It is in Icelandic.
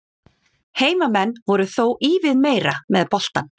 Heimamenn voru þó ívið meira með boltann.